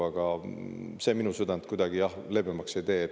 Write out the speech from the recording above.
Aga see on minu südant kuidagi leebemaks ei tee.